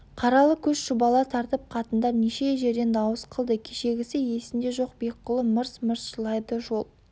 қаралы көш шұбала тартып қатындар неше жерден дауыс қылды кешегісі есінде жоқ бекқұлы мырс-мырс жылайды жол